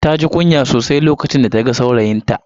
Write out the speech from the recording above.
Taji kunya sosai lokacin da ta ga saurayinta.